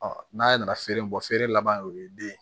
n'a ye na feere bɔ feere la banan o ye den ye